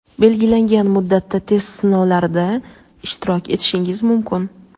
belgilangan muddatda test sinovlarida ishtirok etishingiz mumkin.